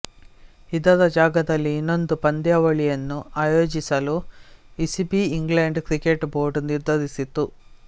ಇದರ ಜಾಗದಲ್ಲಿ ಇನ್ನೊಂದು ಪಂದ್ಯಾವಳಿಯನ್ನು ಆಯೋಜಿಸಲು ಇಸಿಬಿಇಂಗ್ಲೆಂಡ್ ಕ್ರಿಕೆಟ್ ಬೋರ್ಡ್ ನಿರ್ಧರಿಸಿತ್ತು